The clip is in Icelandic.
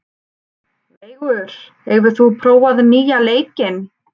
Veigur, hefur þú prófað nýja leikinn?